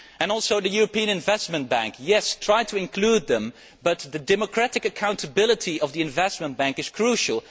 As for the European Investment Bank, yes, try to include the EIB, but the democratic accountability of the Investment Bank is crucial.